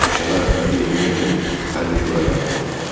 Üsyana rəhbərlik etmək üçün hərbi şura yaradıldı.